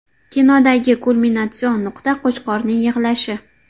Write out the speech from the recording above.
Kinodagi kulminatsion nuqta Qo‘chqorning yig‘lashi.